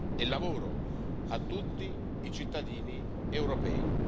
e lavoro a tutti i cittadini europei.